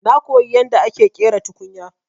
Na koyi yadda ake ƙera tukunya.